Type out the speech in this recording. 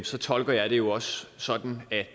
så tolker jeg det jo også sådan at